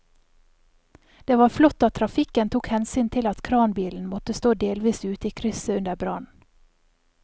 Det var flott at trafikken tok hensyn til at kranbilen måtte stå delvis ute i krysset under brannen.